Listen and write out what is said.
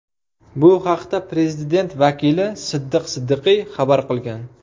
Bu haqda prezident vakili Siddiq Siddiqiy xabar qilgan.